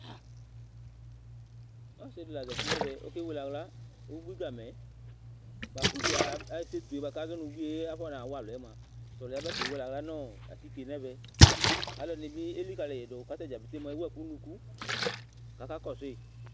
ɔssidï la zatinẽvɛ ɔkéwéléhla ubuigamẽ buakubuie aba éssétué kazɔ nu ḅuié afɔnawualu yɛmua tɔlu ab kéwélé ahla nɔ atiké nɛvɛ aluẽdini bi elikayidu k'atadja pete mua ewueku nunuku kaka kɔsũi